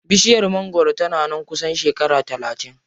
Bishiyar mangwaron tana nan kusan shekara talatin.